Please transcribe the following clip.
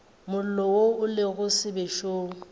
mollo wo o lego sebešong